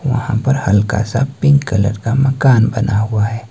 वहां पर हल्का सा पिंक कलर का मकान बना हुआ है।